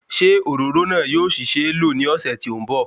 Ṣé òróró náà yóò ṣì ṣeé lò ní ọ̀sẹ̀ tí ó ń bọ̀